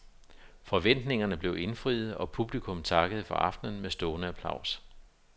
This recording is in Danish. Forventningerne blev indfriet, og publikum takkede for aftenen med stående applaus.